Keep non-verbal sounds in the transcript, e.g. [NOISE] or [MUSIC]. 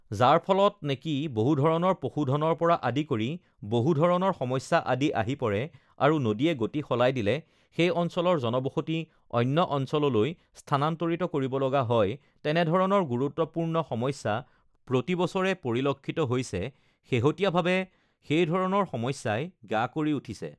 [NOISE] যাৰ ফলত নেকি বহুধৰণৰ পশুধনৰ পৰা আদি কৰি বহুধৰণৰ সমস্যা আদি আহি পৰে আৰু নদীয়ে গতি সলাই দিলে সেই অঞ্চলৰ জনবসতি অন্য অঞ্চললৈ স্থানান্তৰিত কৰিব লগা হয় তেনেধৰণৰ গুৰুত্বপূৰ্ণ সমস্যা প্ৰতিবছৰে পৰিলক্ষিত হৈছে শেহতীয়াভাৱে সেই ধৰণৰ সমস্যাই গা কৰি উঠিছে